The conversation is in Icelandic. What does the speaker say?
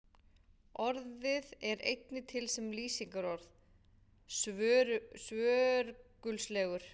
Orðið er einnig til sem lýsingarorð, svörgulslegur.